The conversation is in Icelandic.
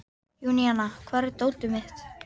Júníana, hvar er dótið mitt?